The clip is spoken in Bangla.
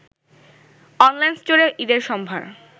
অনলাইন স্টোরে ঈদের সম্ভার